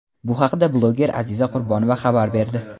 Bu haqda bloger Aziza Qurbonova xabar berdi.